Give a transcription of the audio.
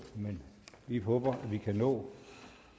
men vi håber at vi kan nå